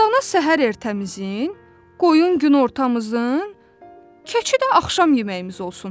Dana səhər ertəmizin, qoyun günortamızın, keçi də axşam yeməyimiz olsun.